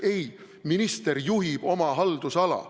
Ei, minister juhib oma haldusala.